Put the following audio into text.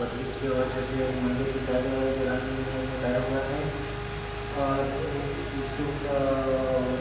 बदलील किया हुआ एक मंदिर दिखाई दे रहा हैंजो रंग बिरंगा दिखाई दे रहा हैंऔर एक तिरशुल का --